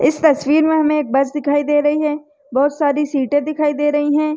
इस तस्वीर में हमें एक बस दिखाई दे रही है बहुत सारी सीटें दिखाई दे रही है।